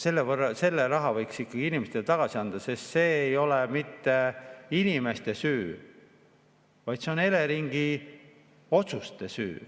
Selle raha võiks ikka inimestele tagasi anda, sest see ei ole mitte inimeste süü, vaid see on Eleringi otsuste süü.